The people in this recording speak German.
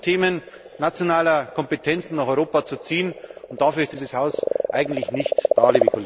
Es wird versucht, Themen nationaler Kompetenzen nach Europa zu ziehen, und dafür ist dieses Haus eigentlich nicht da.